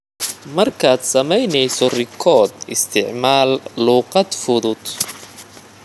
Markaad samaynayso rikoodh, isticmaal luqad fudud.